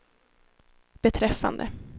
beträffande